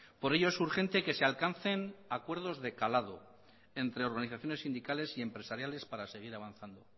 por ello es urgente que se alcancen acuerdos de calado entre organizaciones sindicales y empresariales para seguir avanzando